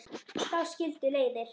Þá skildu leiðir.